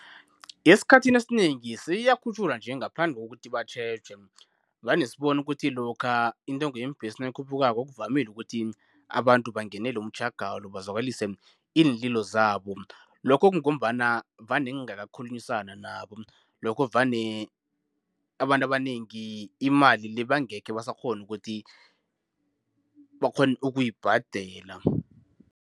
Esikhathini esinengi seyiyakhutjhulwa nje ngaphandle kokuthi batjheje, vane sibone ukuthi lokha intengo yeembhesi nayikhuphukako kuvamile ukuthi abantu bangenele umtjhagalo bazwakalise iinlilo zabo. Lokho kungombana vane kungakakhulunyiswa nabo, lokho vane abantu abanengi imali le bangekhe basakghona ukuthi bakghone ukuyibhadela.